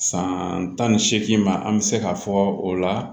San tan ni seegin ma an bɛ se k'a fɔ o la